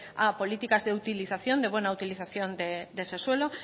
a políticas de utilización de buena utilización de ese suelo